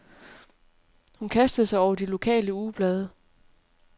Hun kastede sig over de lokale ugeblade.